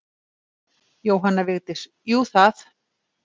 Jóhanna Vigdís: Jú það.